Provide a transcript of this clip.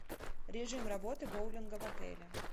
режим работы боулинга в отеле